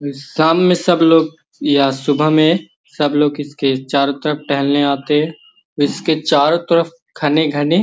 सामने सब लोग या सुबह में सब लोग इसके चारों तरफ टहलने आते इसके चारो तरफ घने-घने।